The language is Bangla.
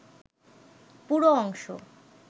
পুরো অংশ